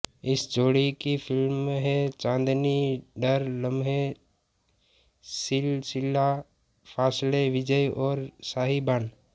इस जोड़ी की फ़िल्में हैं चांदनी डर लम्हे सिलसिला फासले विजय और साहिबान